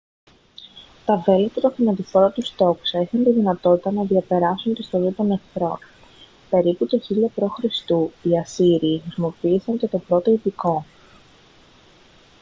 τα βέλη από τα θανατηφόρα τους τόξα είχαν τη δυνατότητα να διαπεράσουν την στολή των εχθρών περίπου το 1000 π.χ. οι ασσύριοι χρησιμοποίησαν και το πρώτο ιππικό